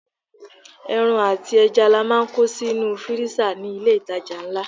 Ẹran àti ẹja ni a máa ń kó sínú fírísà ní ilé ìtajà ńlá.